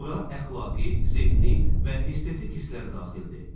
Bura əxlaqi, zehni və estetik hisslər də daxildir.